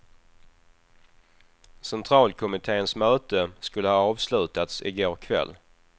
Centralkommittens möte skulle ha avslutats i går kväll.